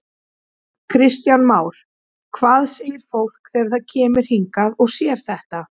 Kristján Már: Hvað segir fólk þegar það kemur hingað og sér þetta?